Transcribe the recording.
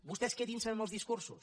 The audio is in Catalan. vostès quedinse amb els discursos